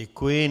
Děkuji.